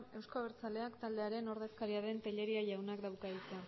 euzko abertzaleak taldearen ordezkaria den tellería jaunak dauka hitza